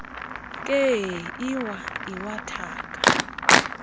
nkee iwaya iwathaka